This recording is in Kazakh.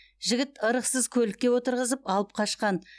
жігіт ырықсыз көлікке отырғызып алып қашқан